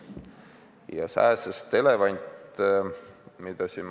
Siin räägiti sääsest elevandi tegemisest.